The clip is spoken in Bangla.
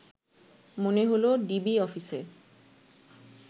মনে হলো ডিবি অফিসে